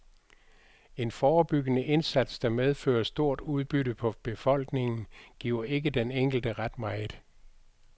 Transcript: En forebyggende indsats, der medfører stort udbytte for befolkningen, giver ikke den enkelte ret meget.